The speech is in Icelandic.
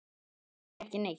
til að gera ekki neitt